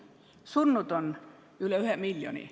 Surnud on üle 1 miljoni.